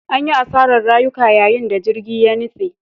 An yi asarar rayuka yayin da jirgin ya nutse.